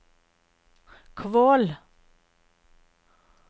Kvål